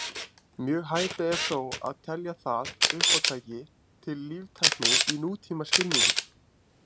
Mjög hæpið er þó að telja það uppátæki til líftækni í nútímaskilningi.